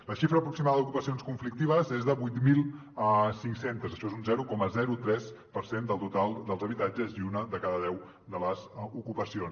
la xifra aproximada d’ocupacions conflictives és de vuit mil cinc cents això és un zero coma tres per cent del total dels habitatges i una de cada deu de les ocupacions